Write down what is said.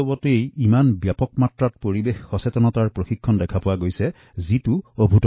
পৰিবেশ সজাগতাৰ এই বিশাল কামকাজ এইবাবে গনেশ উৎসৱত দেখাৰ সুযোগ হল পূৰ্বতে এনে নাছিলো